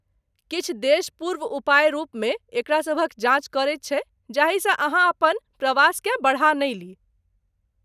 किछु देश पूर्व उपाय रूपमे एकरा सभक जाँच करैत छैक जाहिसँ अहाँ अपन प्रवासकेँ बढ़ा नहि ली।